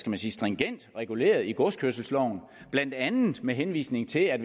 man sige stringent reguleret i godskørselsloven blandt andet med henvisning til at